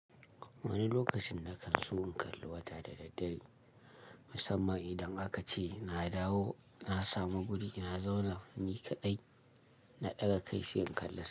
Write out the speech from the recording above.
Wani lokacin na kan so in kalli wata da daddare, musamman idan aka ce na dawo, na samu guri, na zauna, ni kaɗai na ɗaga kai sai in kalla.